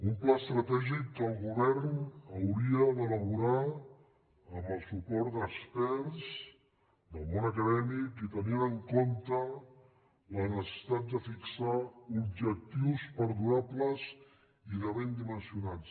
un pla estratègic que el govern hauria d’elaborar amb el suport d’experts del món acadèmic i tenint en compte la necessitat de fixar objectius perdurables i ben dimensionats